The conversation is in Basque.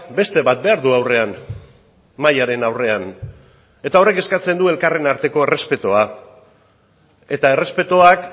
beste bat behar du aurrean mahaiaren aurrean eta horrek eskatzen du elkarren arteko errespetua eta errespetuak